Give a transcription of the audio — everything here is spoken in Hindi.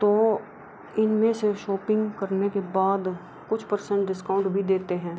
तो इनमें से शॉपिंग करने के बाद कुछ परसेंट डिस्काउंट भी देते हैं।